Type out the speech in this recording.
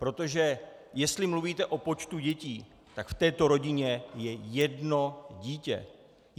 Protože jestli mluvíte o počtu dětí, tak v této rodině je jedno dítě.